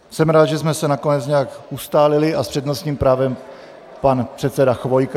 Jsem rád, že jsme se nakonec nějak ustálili, a s přednostním právem pan předseda Chvojka.